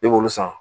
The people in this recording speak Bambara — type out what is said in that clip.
I b'olu san